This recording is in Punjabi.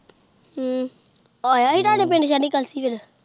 ਹਮ ਉਹ ਆਇਆ ਹੀ ਤੁਹਾਡੇ ਪਿੰਡ ਸੈਰੀਕਲਸ਼ੀ ਸੀ ਫੇਰ।